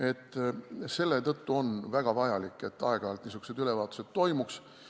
Aga selletõttu on väga vajalik, et aeg-ajalt niisugused ülevaatused toimuks.